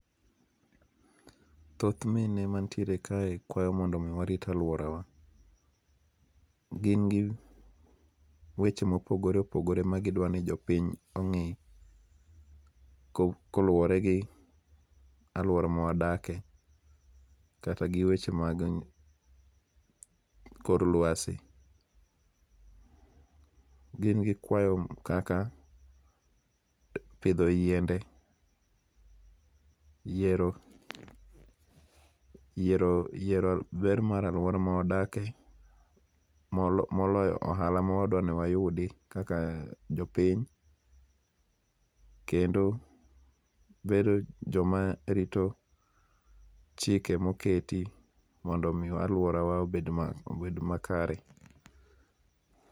Thoth mine mantiere kae kwayo mondo mi warit aluorawa. Gin gi weche mopogore opogore ma gidwa ni jopiny ong'i koluwore gi aluora ma wadakie kata gi weche mag kor luasi . GIn gi kwayo kaka pidho yiende, yiero yiero yiero ber mar aluora ma wadakie moloyo ohala ma wadwa ni wayudi kaka jopiny kendo bedo joma rito chike moketi mondo mi aluorawa obed ma obed makare.